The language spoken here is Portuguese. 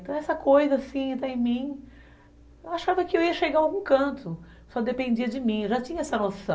Então essa coisa assim, está em mim, eu achava que eu ia chegar a algum canto, só dependia de mim, eu já tinha essa noção.